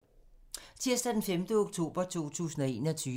Tirsdag d. 5. oktober 2021